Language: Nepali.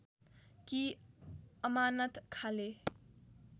कि अमानत खाँले